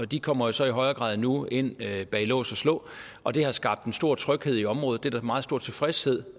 de kommer jo så i højere grad nu ind bag lås og slå og det har skabt en stor tryghed i området det er der meget stor tilfredshed